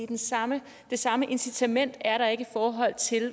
det samme det samme incitament er der ikke i forhold til